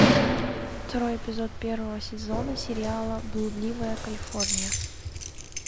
второй эпизод первого сезона сериала блудливая калифорния